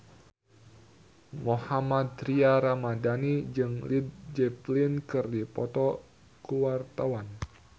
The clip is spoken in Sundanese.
Mohammad Tria Ramadhani jeung Led Zeppelin keur dipoto ku wartawan